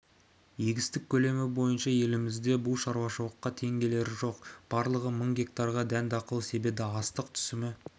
егістік көлемі бойынша елімізде бұл шаруашылыққа тең келері жоқ барлығы мың гектарға дән-дақыл себеді астық түсімі